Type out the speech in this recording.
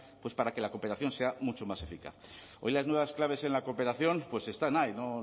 para que la cooperación sea mucho más eficaz hoy las nuevas claves en la cooperación pues están ahí no